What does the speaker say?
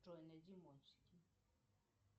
джой найди мультики